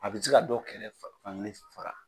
A bɛ se ka dɔ kɛrɛ fan kelen faga